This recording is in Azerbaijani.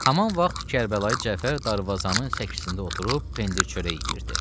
Haman vaxt Kərbəlayı Cəfər darvazanın səkisində oturub pendir-çörəyi yeyirdi.